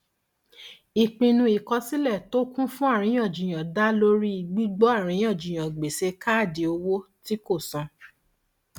ìpinnu ìkọsílẹ tó kún fún àríyànjiyàn dá lórí gbígbọ àríyànjiyàn gbèsè káàdì owó tí kò san